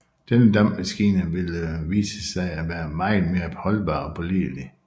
Denne dampmaskine ville visse sig at være meget mere holdbar og pålidelig